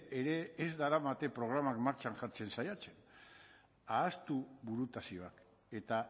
ere ez daramate programak martxan jartzen saiatzen ahaztu burutazioak eta